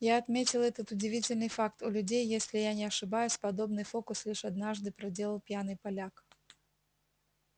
я отметил этот удивительный факт у людей если я не ошибаюсь подобный фокус лишь однажды проделал пьяный поляк